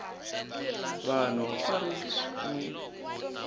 vanhu a ri n wi